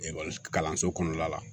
Ekɔli kalanso kɔnɔna la